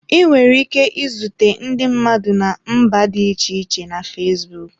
Ị nwere ike izute ndị mmadụ na mba dị iche iche na fesbụụk.